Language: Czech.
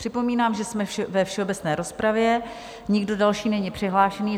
Připomínám, že jsme ve všeobecné rozpravě, nikdo další není přihlášen.